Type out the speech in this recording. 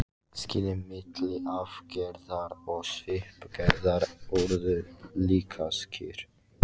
Skilin milli arfgerðar og svipgerðar urðu líka skýr.